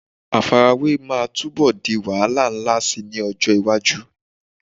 Àfarawé máa túbọ̀ di wàhálà ńlá síi ní ọjọ́ iwájú.